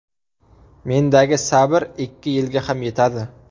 Mendagi sabr ikki yilga ham yetadi.